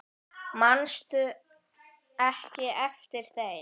Manstu ekki eftir þeim?